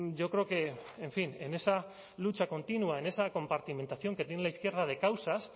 yo creo que en fin en esa lucha continua en esa compartimentación que tiene la izquierda de causas